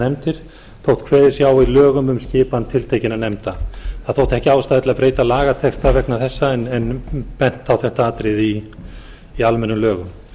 nefndir þótt kveðið sé á í lögum um skipan tiltekinna nefnda það þótti ekki ástæða til að breyta lagatexta veg þessa en bent á þetta atriði í almennum lögum